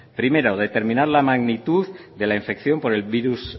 primero determinar la magnitud de la infección por el virus